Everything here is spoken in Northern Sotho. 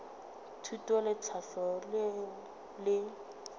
thuto le tlhahlo leo le